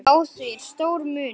Á því er stór munur.